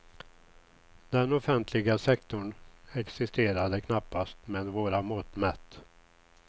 Den offentliga sektorn existerade knappast med våra mått mätt.